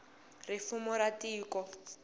ri fumo ra tiko